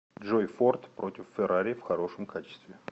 джой форд против феррари в хорошем качестве